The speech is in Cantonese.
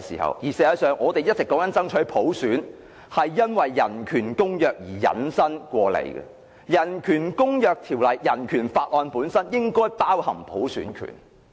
事實上，我們一直所爭取的普選便是從公約引申出來的，公約及《人權法案條例》應該包含普選權。